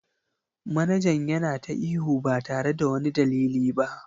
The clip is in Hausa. Manajan yana ta ihu ba tare da wani dalili ba.